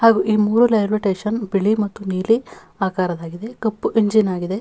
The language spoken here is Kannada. ಹಾಗೂ ಈ ಮೂರು ರೈಲ್ವೆ ಸ್ಟೇಷನ್ ಬಿಳಿ ಮತ್ತು ನೀಲಿ ಆಕಾರದ್ದಾಗಿದೆ ಕಪ್ಪು ಇಂಜಿನ್ ಆಗಿದೆ.